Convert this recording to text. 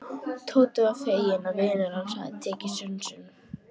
Tóti var feginn að vinur hans hafði tekið sönsum.